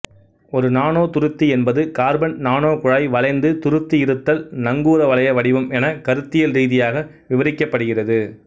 ஒரு நானோதுருத்தி என்பது கார்பன் நானோகுழாய் வளைந்து துருத்தியிருத்தல் நங்கூரவளைய வடிவம் என கருத்தியல் ரீதியாக விவரிக்கப்படுகிறது